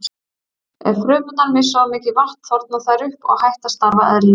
Ef frumurnar missa of mikið vatn þorna þær upp og hætt að starfa eðlilega.